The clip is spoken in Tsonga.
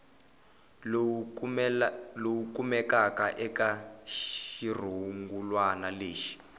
lowu kumekaka eka xirungulwana lexi